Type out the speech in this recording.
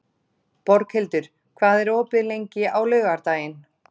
Borghildur, hvað er opið lengi á laugardaginn?